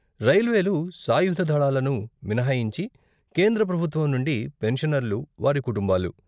రైల్వేలు, సాయుధ దళాలను మినహాయించి కేంద్ర ప్రభుత్వం నుండి పెన్షనర్లు, వారి కుటుంబాలు.